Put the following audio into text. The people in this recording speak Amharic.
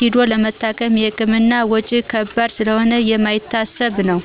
ሂዶ ለመታከም የህክምና ወጭ ከባድ ስለሆነ የማይታሰብ ነው።